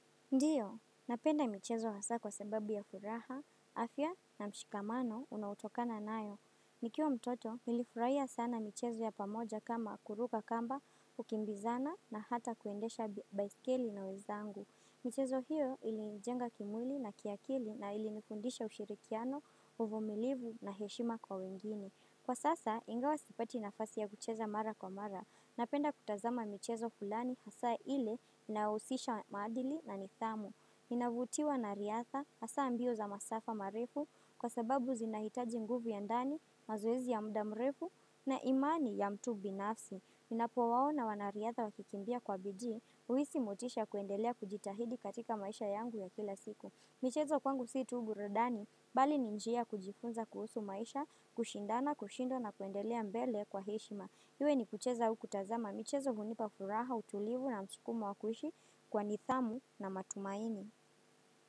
Ndiyo, napenda michezo hasa kwa sababu ya furaha, afya na mshikamano unau tokana nayo. Nikiwa mtoto, nilifurahia sana michezo ya pamoja kama kuruka kamba, kukimbizana na hata kuendesha baiskeli na wezangu. Michezo hiyo ilinjenga kimwili na kiakili na ilinifundisha ushirikiano, uvumilivu na heshima kwa wengine. Kwa sasa, ingawa sipati nafasi ya kucheza mara kwa mara. Napenda kutazama michezo fulani hasa ile inaohusisha maadili na nidhamu. Inavutiwa na riadha hasa ambio za masafa marefu kwa sababu zinahitaji nguvu ya ndani, mazoezi ya muda mrefu na imani ya mtu binafsi. Napowaona wanariadha wakikimbia kwa bidii, huisi motisha ya kuendelea kujitahidi katika maisha yangu ya kila siku. Michezo kwangu si tu burudani, bali ni njia kujifunza kuhusu maisha, kushindana, kushindwa na kuendelea mbele kwa heshima. Iwe ni kucheza au kutazama michezo hunipa furaha, utulivu na msikumo wa kuishi kwa nithamu na matumaini.